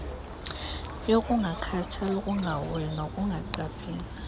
yokungakhathali ukungahoyi nokungaqapheli